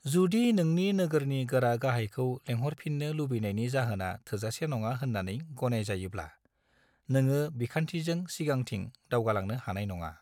जुदि नोंनि नोगोरनि गोरा-गाहायखौ लेंहरफिननो लुबैनायनि जाहोना थोजासे नङा होननानै गनायजायोब्ला, नोङो बिखान्थिजों सिगांथिं दावगालांनो हानाय नङा।